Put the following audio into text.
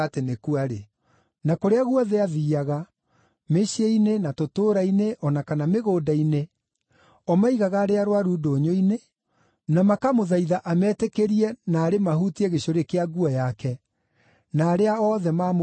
Na kũrĩa guothe aathiiaga, mĩciĩ-inĩ, na tũtũũra-inĩ o na kana mĩgũnda-inĩ, o maigaga arĩa arũaru ndũnyũ-inĩ, na makamũthaitha ametĩkĩrie naarĩ mahutie gĩcũrĩ kĩa nguo yake, na arĩa othe maamũhutirie makĩhona.